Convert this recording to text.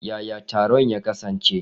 Yaya taron ya kasance?